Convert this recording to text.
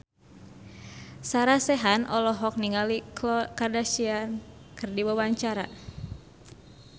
Sarah Sechan olohok ningali Khloe Kardashian keur diwawancara